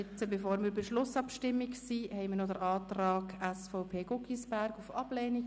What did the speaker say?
Bevor wir zur Schlussabstimmung kommen, haben wir noch den Antrag der SVPFraktion auf Ablehnung.